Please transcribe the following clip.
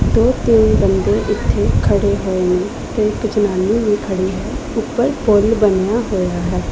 ਦੋ ਤਿੰਨ ਬੰਦੇ ਇੱਥੇ ਖੜੇ ਹੋਏ ਨੇ ਤੇ ਇੱਕ ਜਨਾਨੀ ਵੀ ਖੜੀ ਹੈ ਉੱਪਰ ਪੁੱਲ ਬਣਿਆ ਹੋਇਆ ਹੈ।